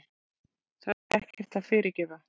Það er ekkert að fyrirgefa.